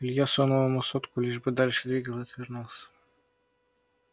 илья сунул ему сотку лишь бы дальше двигал и отвернулся